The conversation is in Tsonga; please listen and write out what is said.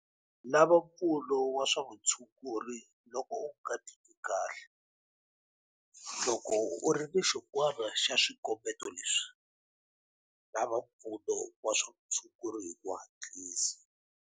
Lava mpfuno wa swa vutshunguri loko u nga titwi kahle. Loko u ri na xin'wana xa swikombeto leswi, lava mpfuno wa swa vutshunguri hi ku hatlisa.